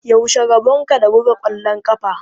Yaushe rabonka da buga ƙwallon ƙafa?